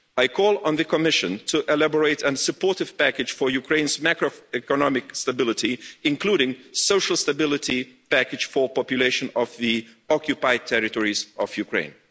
I call on the Commission to elaborate and support a package for Ukraine's macro economic stability, including a social stability package for the population of the occupied territories of Ukraine.